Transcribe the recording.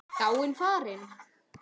Dáin, farin.